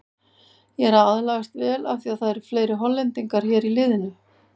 Ég er aðlagast vel af því að það eru fleiri Hollendingar hér í liðinu.